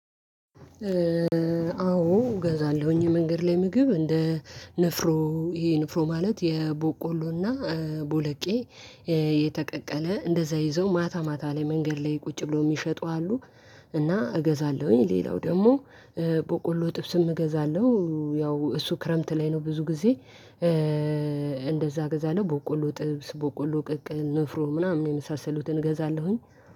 አዎ እገዛለሁኝ መንገድ ላይ ምግብ እንደ ንፍሮ ይሄ ንፍሮ ማለት የቦቆሎና ቦለቄ የተቀቀለ እንደዛ ይዘው ማታ ማታ ላይ መንገድ ላይ ቁጭ ብሎ የሚሸጡ አሉ። እና እገዛለሁኝ ሌላው ደግሞ በቆሎ ጥብስም እገዛለሁ። ያው እሱ ክረምት ላይ ነው ብዙ ጊዜ። እንደዛ እገዛለሁ ቦቆሎ ጥብስ ቦቆሎ ቅቅል ንፍሮ ምናምን የመሳሰሉትን እገዛለሁኝ።